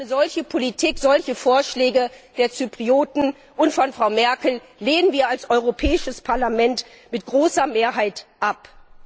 Eine solche Politik, solche Vorschläge der Zyprer und von Frau Merkel lehnen wir als Europäisches Parlament mit großer Mehrheit ab!